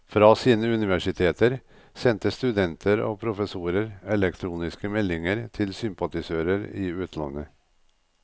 Fra sine universiteter sendte studenter og professorer elektroniske meldinger til sympatisører i utlandet.